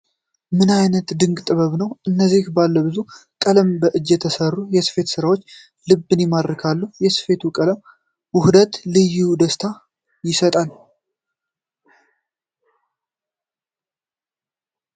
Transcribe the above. ምን አይነት ድንቅ ጥበብ ነው! እነዚህ ባለብዙ ቀለም በእጅ የተሰሩ የስፊት ስራዎች ልብን ይማርካሉ! የሰፊቱ ቀለም ውህደት ልዩ ደስታ ይሰጣል!